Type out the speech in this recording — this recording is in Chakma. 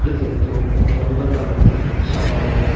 getto ekdam dalalloi sakka bola.